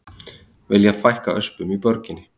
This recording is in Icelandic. Vilja fækka öspum í borginni